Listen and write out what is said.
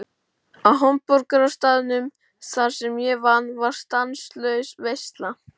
Á hamborgarastaðnum þar sem ég vann var stanslaus veisla.